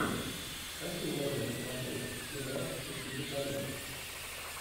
какие можно посмотреть сериал счастливый конец